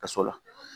Kaso la